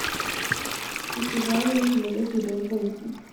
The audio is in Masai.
Eisataayioki ilo kesi toolpolisi